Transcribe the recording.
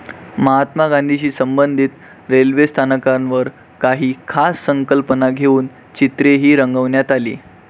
महात्मा गांधीशी संबंधित रेल्वे स्थानकांवर काही खास संकल्पना घेऊन चित्रेही रंगवण्यात आली.